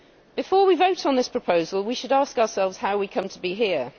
Before we vote on this proposal we should ask ourselves how we come to be here.